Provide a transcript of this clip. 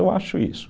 Eu acho isso.